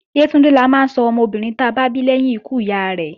Yétúndé la máa sọ ọmọbìnrin ta bá bí lẹ́yìn ikú ìyá rẹ́